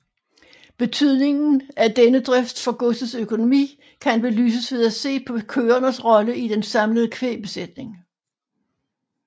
Betydningen af denne drift for godsets økonomi kan belyses ved at se på køernes rolle i den samlede kvægbesætning